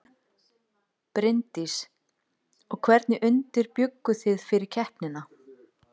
Bryndís: Og hvernig undirbjugguð þið fyrir keppnina?